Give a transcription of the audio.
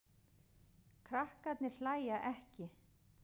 Krakkarnir hlæja ekki.